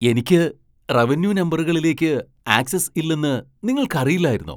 എനിക്ക് റവന്യൂ നമ്പറുകളിലേക്ക് ആക്സസ് ഇല്ലെന്ന് നിങ്ങൾക്കറിയില്ലായിരുന്നോ?